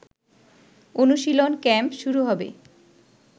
অনুশীলন ক্যাম্প শুরু হবে